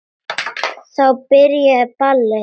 Þá byrjaði ballið.